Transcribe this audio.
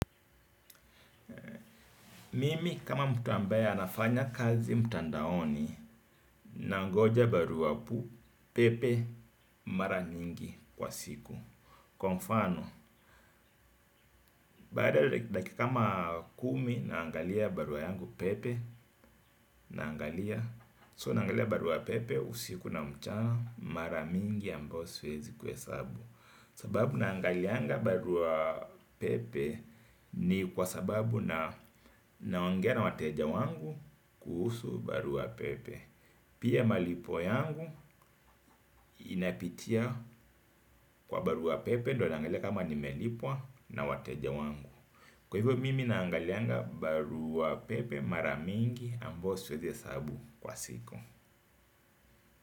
Mimi kama mtu ambaye anafanya kazi mtandaoni, nangoja barua pu, pepe, mara nyingi kwa siku. Kwa mfano, baada ya dakika kama kumi naangalia barua yangu pepe, naangalia, so naangalia barua pepe, usiku na mchana, mara mingi ambao siwezi kuhesabu. Sababu naangalianga barua pepe ni kwa sababu na naongea na wateja wangu kuhusu barua pepe. Pia malipo yangu inapitia kwa barua pepe ndo naangali kama nimelipwa na wateja wangu. Kwa hivyo mimi naangalianga barua pepe mara mingi ambao siwezi hesabu kwa siku.